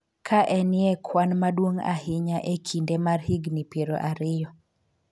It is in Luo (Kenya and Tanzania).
ka en ye kwan maduong' ahinya e kinde mar higni piero ariyo